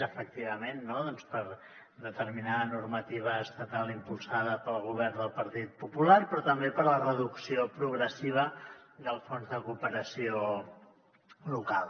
efectivament no doncs per determinada normativa estatal impulsada pel govern del partit popular però també per la reducció progressiva del fons de cooperació local